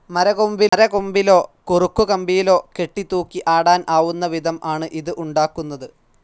Tree കൊമ്പിലോ കുറുക്കു കമ്പിയിലോ കെട്ടി തൂക്കി ആടാൻ ആവുന്ന വിധം ആണ് ഇത് ഉണ്ടാക്കുന്നത്.